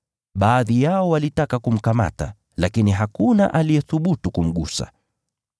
Baadhi yao walitaka kumkamata, lakini hakuna aliyethubutu kumgusa.